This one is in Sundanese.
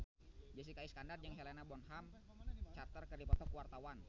Jessica Iskandar jeung Helena Bonham Carter keur dipoto ku wartawan